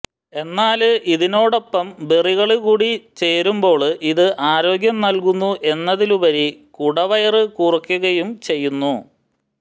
എന്നാല് ഇതിനോടൊപ്പം ബെറികള് കൂടി ചേരുമ്പോള് ഇത് ആരോഗ്യം നല്കുന്നു എന്നതിലുപരി കുടവയര് കുറയ്ക്കുകയും ചെയ്യുന്നു